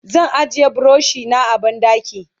zan ajiye burushi na a banɗaki